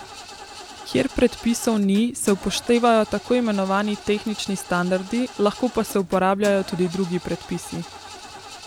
Kjer predpisov ni, se upoštevajo tako imenovani tehnični standardi, lahko pa se uporabljajo tudi drugi predpisi.